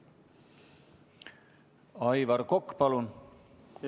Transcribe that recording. Aivar Kokk, palun!